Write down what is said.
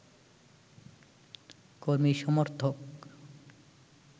কর্মী সমর্থক